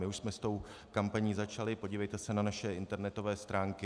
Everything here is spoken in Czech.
My už jsme s tou kampaní začali, podívejte se na naše internetové stránky.